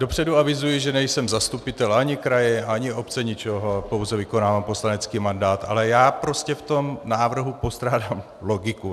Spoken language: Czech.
Dopředu avizuji, že nejsem zastupitel ani kraje, ani obce, ničeho, pouze vykonávám poslanecký mandát, ale já prostě v tom návrhu postrádám logiku.